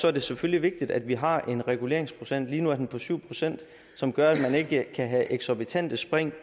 er det selvfølgelig vigtigt at vi har en reguleringsprocent lige nu er den på syv procent som gør at man ikke kan have eksorbitante spring